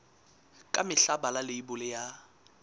ka mehla bala leibole ya